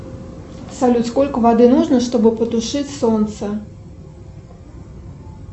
салют сколько воды нужно чтобы потушить солнце